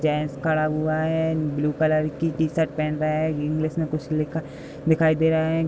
Gents खड़ा हुआ है। ब्‍लू कलर की टी-शर्ट पहन रहा है। इंग्लिस में कुछ लिखा दिखाई दे रहा है।